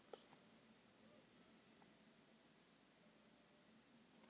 BLETTUR Í TEPPINU